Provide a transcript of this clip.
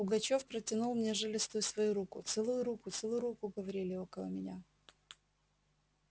пугачёв протянул мне жилистую свою руку целуй руку целуй руку говорили около меня